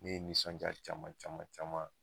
Ne ye nisɔnja caman caman caman